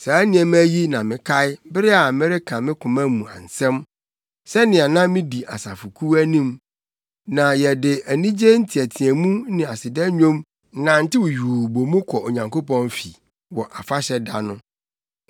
Saa nneɛma yi na mekae bere a mereka me koma mu nsɛm; sɛnea na midi asafokuw anim, na yɛde anigye nteɛteɛmu ne aseda nnwom nantew yuu bɔ mu kɔ Onyankopɔn fi wɔ afahyɛ da no.